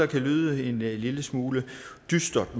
kan lyde en lille smule dystert